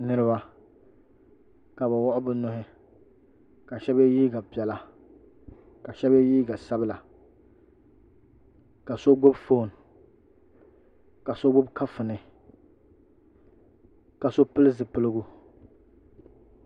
Niriba ka bɛ wuɣi bɛ nuhi ka shɛba ye liiga piɛla ka shɛba ye liiga sabila ka so gbubi foon ka so gbubi kafuni ka so pili zipiligu